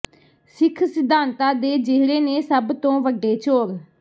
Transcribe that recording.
ਸਿੱਖ ਸਿਧਾਂਤਾ ਦੇ ਜਿਹੜੇ ਨੇ ਸੱਭ ਤੋ ਵਡੇ ਚੋਰ